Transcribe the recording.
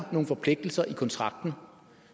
nogle forpligtelser i kontrakten